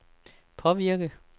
påvirke